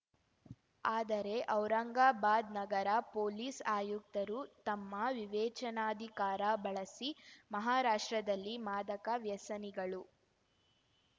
ಆದರೆ ಔರಂಗಾಬಾದ್‌ ನಗರ ಪೊಲೀಸ್‌ ಆಯುಕ್ತರು ತಮ್ಮ ವಿವೇಚನಾಧಿಕಾರ ಬಳಸಿ ಮಹಾರಾಷ್ಟ್ರದಲ್ಲಿ ಮಾದಕ ವ್ಯಸನಿಗಳು